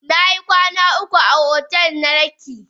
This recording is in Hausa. Nayi kwanan uku a otel na lekki.